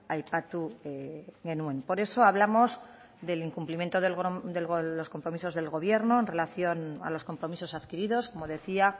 aipatu genuen por eso hablamos del incumplimiento de los compromisos del gobierno en relación a los compromisos adquiridos como decía